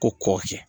Ko kɔ kɛ